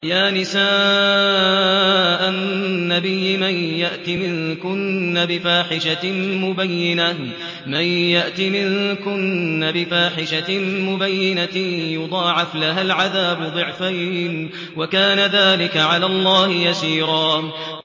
يَا نِسَاءَ النَّبِيِّ مَن يَأْتِ مِنكُنَّ بِفَاحِشَةٍ مُّبَيِّنَةٍ يُضَاعَفْ لَهَا الْعَذَابُ ضِعْفَيْنِ ۚ وَكَانَ ذَٰلِكَ عَلَى اللَّهِ يَسِيرًا